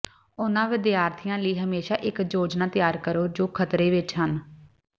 ਉਹਨਾਂ ਵਿਦਿਆਰਥੀਆਂ ਲਈ ਹਮੇਸ਼ਾਂ ਇੱਕ ਯੋਜਨਾ ਤਿਆਰ ਕਰੋ ਜੋ ਖਤਰੇ ਵਿੱਚ ਹਨ